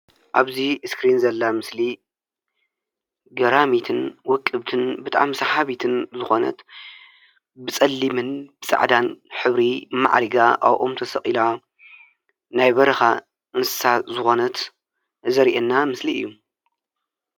አብዚ እስክሪን ዘላ ምስሊ ገራሚትን ውቅብትን ብጣዕሚ ሳሓቢት ዝኾነት ብፀሊምን ፃዕዳ ሕብሪ ማዕሪጋ አብ ኦም ተሰቂላ ናይ በረካ እንስሳ ዝኾነት ዘርኢና ምስሊ እዩ፡፡